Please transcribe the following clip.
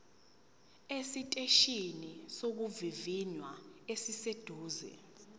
esiteshini sokuvivinya esiseduze